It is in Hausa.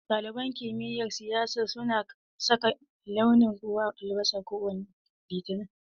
Ɗaliban kumiyar siyasa suna saka launin ruwan albasa kowane Litini.